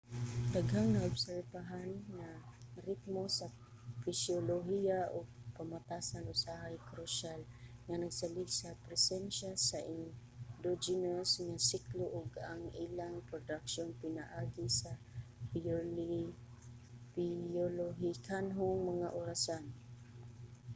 daghang naobserbahan nga ritmo sa pisyolohiya ug pamatasan usahay krusyal nga nagsalig sa presensiya sa endogenous nga siklo ug ang ilang produksyon pinaagi sa biolohikanhong mga orasan